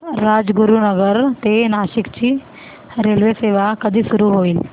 राजगुरूनगर ते नाशिक ची रेल्वेसेवा कधी सुरू होईल